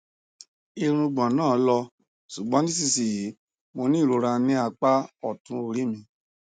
irùngbọn náà lọ ṣùgbọn nísinsìnyí mo ní ìrora ní apá ọtún orí mi